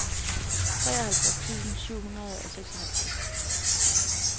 treoghalvtreds tusind syv hundrede og seksoghalvtreds